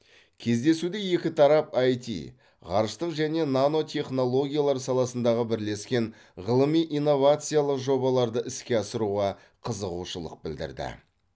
кездесуде екі тарап аити ғарыштық және нано технологиялар саласындағы бірлескен ғылыми инновациялық жобаларды іске асыруға қызығушылық білдірді